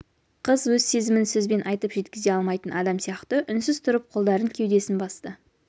қыз өз сезімін сөзбен айтып жеткізе алмайтын адам сияқты үнсіз тұрып қолдарын кеудесін басты